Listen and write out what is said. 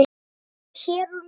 Er það hér og nú?